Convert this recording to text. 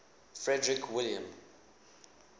frederick william